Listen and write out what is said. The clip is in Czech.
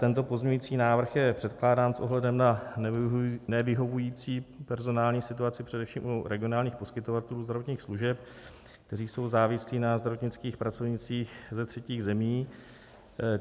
Tento pozměňovací návrh je předkládán s ohledem na nevyhovující personální situaci především u regionálních poskytovatelů zdravotních služeb, kteří jsou závislí na zdravotnických pracovnících ze třetích zemí.